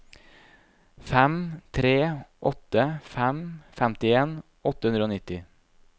fem tre åtte fem femtien åtte hundre og nitti